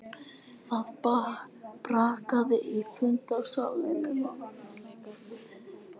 Það brakaði í fundarsalnum af hatri og úlfúð í minn garð.